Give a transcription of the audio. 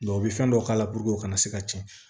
u bɛ fɛn dɔw k'a la puruke u kana se ka tiɲɛ